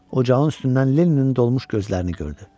Ocağın üstündən Lenninin dolmuş gözlərini gördü.